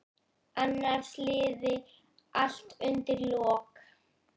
Annars liði allt undir lok.